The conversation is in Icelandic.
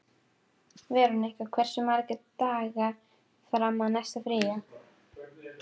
Veronika, hversu margir dagar fram að næsta fríi?